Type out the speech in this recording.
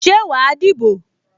Ṣé wà á dìbò?